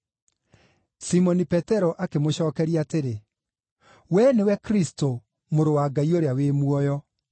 Simoni Petero akĩmũcookeria atĩrĩ, “Wee nĩwe Kristũ, Mũrũ wa Ngai ũrĩa wĩ muoyo.”